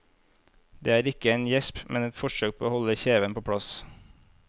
Det er ikke en gjesp, men et forsøk på å holde kjeven på plass.